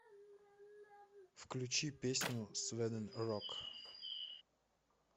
включи песню сведен рок